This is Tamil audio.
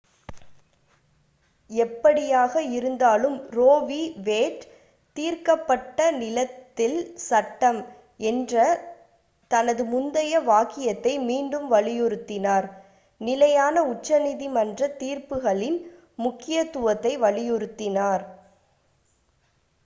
"எப்படியாக இருந்தாலும் ரோ வி. வேட் "தீர்க்கப்பட்ட நிலத்தில் சட்டம்" என்ற தனது முந்தைய வாக்கியத்தை மீண்டும் வலியுறுத்தினார் நிலையான உச்சநீதிமன்றத் தீர்ப்புகளின் முக்கியத்துவத்தை வலியுறுத்தினார்.